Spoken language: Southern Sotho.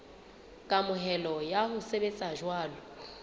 kamohelo ya ho sebetsa jwalo